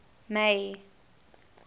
may